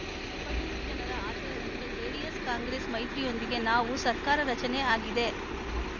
ತಿಪಟೂರು ಜನರ ಆಶಯದಂತೆ ಜೆಡಿಎಸ್‌ಕಾಂಗ್ರೆಸ್‌ ಮೈತ್ರಿಯೊಂದಿಗೆ ನಾವು ಸರ್ಕಾರ ರಚನೆ ಆಗಿದೆ